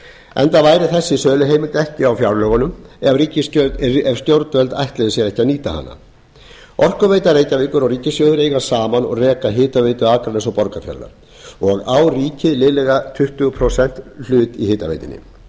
enda væri þessi söluheimild ekki á fjárlögum ef stjórnvöld ætluðu sér ekki að nýta hana orkuveita reykjavíkur og ríkissjóður eiga og reka saman hitaveitu akraness og borgarfjarðar og á ríkið liðlega tuttugu prósenta hlut í hitaveitunni